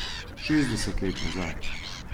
Šestdeset let nazaj.